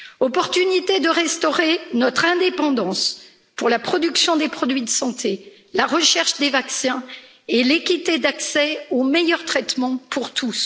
Opportunité de restaurer notre indépendance pour la production des produits de santé, la recherche des vaccins et l'équité d'accès aux meilleurs traitements pour tous.